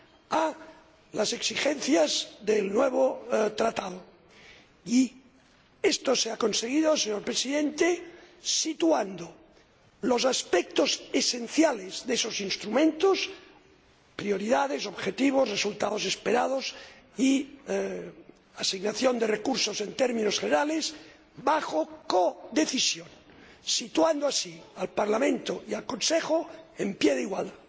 a las exigencias del nuevo Tratado y esto se ha conseguido, señor Presidente, situando los aspectos esenciales de esos instrumentos —prioridades, objetivos, resultados esperados y asignación de recursos en términos generales— bajo codecisión, lo que coloca al Parlamento y al Consejo en pie de igualdad.